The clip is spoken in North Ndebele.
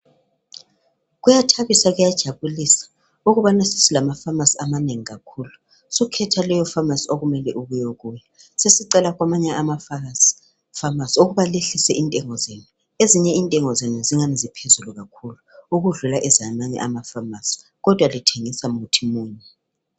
Kuyathabisa kuyajabulisa ukubana sesilama pharmacy amanengi kakhulu Sukhetha leyo pharmacy okumele uye kuyo .Sesicela kwamanye amapharmacy ukubana lehlise intengo zenu .Ezinye intengo zenu zingani ziphezulu kakhulu ukudlula ezamanye ama pharmacy kodwa lithengisa muthi munye.